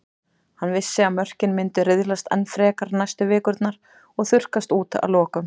Hann vissi að mörkin myndu riðlast enn frekar næstu vikurnar og þurrkast út að lokum.